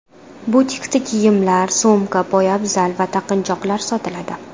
Butikda kiyimlar, sumka, poyabzal va taqinchoqlar sotiladi.